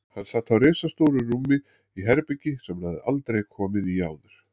Hann sat á ristastóru rúmi í herbergi sem hann hafði aldrei komið í áður.